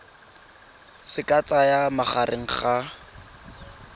se ka tsayang magareng ga